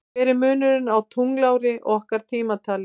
Hver er munurinn á tunglári og okkar tímatali?